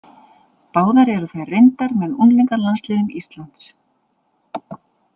Báðar eru þær reyndar með unglingalandsliðum Íslands.